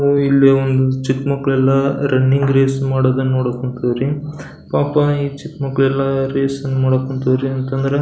ಇಲ್ಲಿ ಒಂದು ಚಿಕ್ಕ್ ಮಕ್ಕಳೆಲ್ಲ ರನ್ನಿಂಗ್ ರೇಸ್ ಮಾಡೋದನ್ನ ನೋಡಕ್ ಹೊಂಟಿವ್ ರೀ ಪಾಪ ಈ ಚಿಕ್ಕ್ ಮಕ್ಕಳೆಲ್ಲ ರೇಸ್ ಅನ್ನ ಮಾಡೋಕ್ ಹೊಂತವ್ರಿ ಅಂತಂದ್ರ--